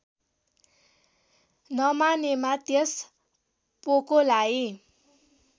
नमानेमा त्यस पोकोलाई